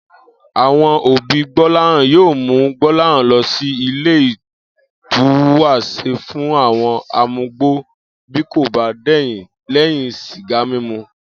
Àwo̩n òbí Gbó̩láhàn yóò mú Gbó̩láhàn lo̩ sí ile ìtúwàs̩e fún àwo̩n amugbó bí kò bá dè̩yìn lé̩yìn sìgá mímu